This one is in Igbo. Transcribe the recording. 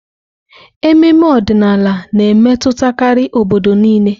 Ememe ọdịnala na-emetụtakarị obodo niile.